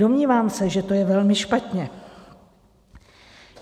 Domnívám se, že to je velmi špatně.